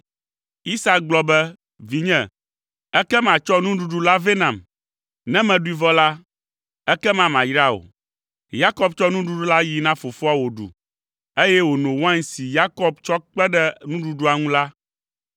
Isak gblɔ be, “Vinye, ekema tsɔ nuɖuɖu la vɛ nam. Ne meɖui vɔ la, ekema mayra wò.” Yakob tsɔ nuɖuɖu la na fofoa wòɖu, eye wòno wain si Yakob tsɔ kpe ɖe nuɖuɖua ŋu la.